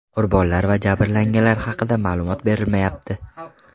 Qurbonlar va jabrlanganlar haqida ma’lumot berilmayapti.